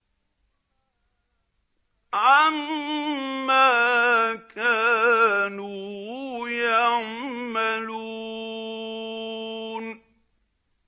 عَمَّا كَانُوا يَعْمَلُونَ